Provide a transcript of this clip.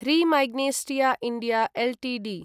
र्ही Magnesita India Ltd